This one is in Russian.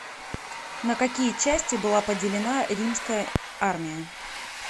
на какие части была поделена римская армия